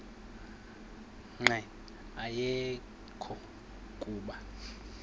nqe ayekho kuba